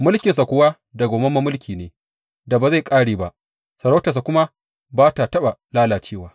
Mulkinsa kuwa dawwammamen mulki ne da ba zai ƙare ba, sarautarsa kuma ba ta taɓa lalacewa.